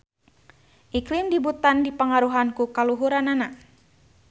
Iklim di Butan dipangaruhan ku kaluhuranana.